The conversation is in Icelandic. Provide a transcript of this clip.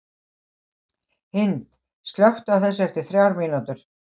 Hind, slökktu á þessu eftir þrjár mínútur.